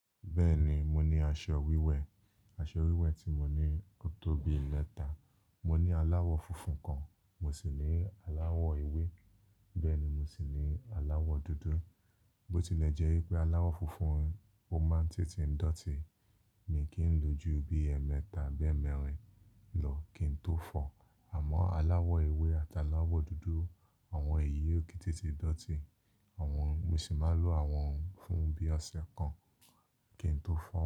Bẹ́ẹ̀ni, mo ní aṣọ wíwẹ̀. Aṣọ wíwẹ̀ tí mo ní ó tó bi mẹ̀ta. Mo ní aláwọ̀ funfun kan, mo sì ní aláwọ̀ ewé, bẹ́ẹ̀ ni mo sì ní aláwọ̀ dúdú. Bó tilẹ̀ jẹ́ pé aláwọ̀ funfun ó máa ń tètè dọ̀tí, mi kí n lo ju bí ẹẹ́mẹta bi eemẹ́rin lọ kí n tó fọ̀. Àmọ́ aláwọ̀ ewé àti aláwọ̀ dúdú àwọn èyí ó ki n tètè dọ̀tí. Àwọn, mo sì máa lò àwọn fún bí ọ̀sẹ̀ kan kí n tó fọ̀.